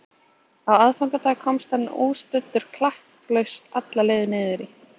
Á aðfangadag komst hann óstuddur klakklaust alla leið niður í